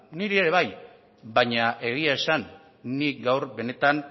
niri ere bai baina egia esan nik gaur benetan